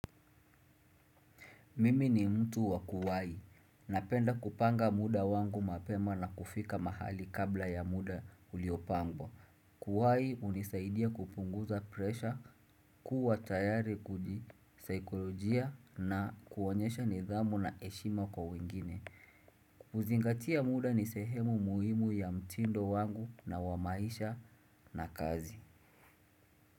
Mimi ni mtu wakuwai. Napenda kupanga muda wangu mapema na kufika mahali kabla ya muda uliopangwa. Kuwai hunisaidia kupunguza presha, kuwa tayari kudi saikolojia na kuonyesha nidhamu na eshima kwa wengine. Uzingatia muda ni sehemu muhimu ya mtindo wangu na wamaisha na kazi.